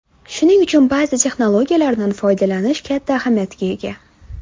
Shuning uchun ba’zi texnologiyalardan foydalanish katta ahamiyatga ega.